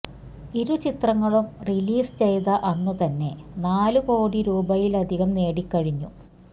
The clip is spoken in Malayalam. ഇരു ചിത്രങ്ങളും റിലീസ് ചെയ്ത അന്ന് തന്നെ നാല് കോടി രൂപയിലധികം നേടിക്കഴിഞ്ഞു